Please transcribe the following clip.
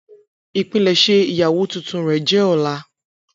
Ipilẹsẹ iyawo tuntun rẹ jẹ ọla.